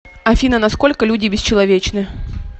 афина на сколько люди бесчеловечны